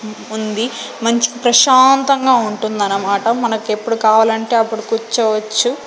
ఉంది మంచి ప్రశాంతంగా ఉంటుందనమాట మనకెప్పుడు కావాలంటే అప్పుడు కుర్చోవచ్చు.